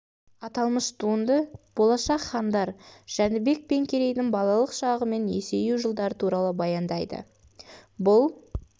аталмыш туынды болашақ хандар жәнібек пен керейдің балалық шағы мен есею жылдары туралы баяндайды бұл